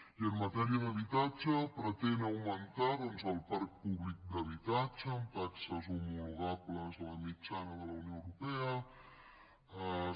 i que en matèria d’habitatge pretén augmentar doncs el parc públic d’habitatge amb taxes homologables a la mitjana de la unió europea